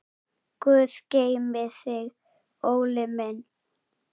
Guð geymi þig, Óli minn.